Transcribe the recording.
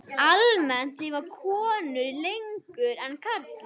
Almennt lifa konur lengur en karlar.